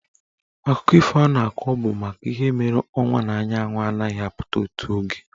Akụkọ ifo ọ na-akọ bụ maka ihe mere ọnwa na anyanwụ anaghị apụta otu oge.